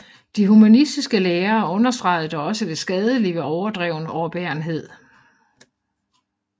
De humanistiske lærere understregede dog også det skadelige ved overdreven overbærenhed